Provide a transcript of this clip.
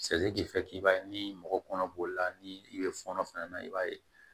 i b'a ye ni mɔgɔ kɔnɔ b'o la ni i bɛ fɔnɔ fana na i b'a ye